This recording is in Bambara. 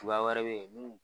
Bua wɛrɛ bɛ yen munnu.